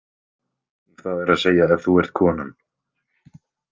Það er að segja ef þú ert konan.